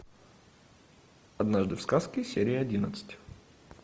однажды в сказке серия одиннадцать